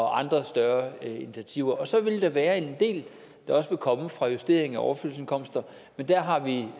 andre større initiativer og så vil der være en del der vil komme fra justeringer af overførselsindkomsterne men der har vi